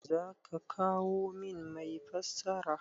Za ka kawo min mai fassara?